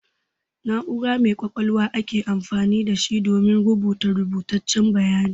Na'ura mai ƙwaƙwalwa ake amfani da shi domin a buga rubutaccen bayani.